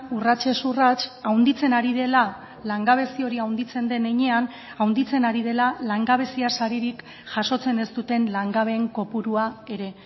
urratsez urrats handitzen ari dela langabezi hori handitzen den heinean handitzen ari dela langabezia saririk jasotzen ez duten langabeen kopurua ere